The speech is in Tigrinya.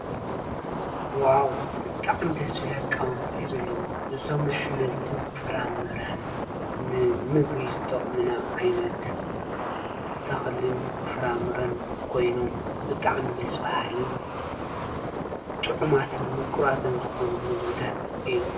ዎው ብጣዓሚ ደስ ዝብል ኣቀማምጣ እዩ ዘለዎ፡፡ እዞም ኣሕምልትን ፍራምረን ንምግቢ ዝጠቅሙና ዓይነት ተክልን ፍራምረን ኮይኖም ብጣዕሚ ደስ በሃልን ጥዑማትን ምቁራትን ዝኮኑ ምግብታት እዩ፡፡